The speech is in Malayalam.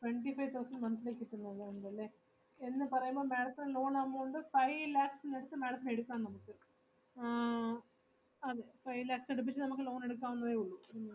Twenty five thousand monthly കിട്ടുന്നുള്ളൂ എന്നല്ലേ എന്നു പറയുമ്പോൾ madam ത്തിന് loan amount five lakhs ഇനടുത്ത് madam ത്തിന് എടുക്കാം നമുക്ക് ആഹ് അതേ five lakhs ഇനടുപ്പിച്ച് നമുക്ക് loan എടുക്കാവുന്നതേയുള്ളൂ.